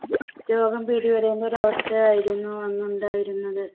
രോഗം പിടിപെടുന്ന ഒരു അവസ്ഥയായിരുന്നു അന്ന് ഉണ്ടായിരുന്നത്.